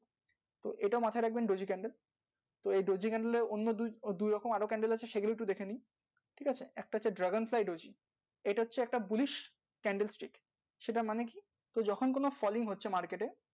category, daisy থাকবে daisy, candle এর নিচ দিয়ে candle ঠিক আছে এটা হচ্ছে push, candlestick market থেকে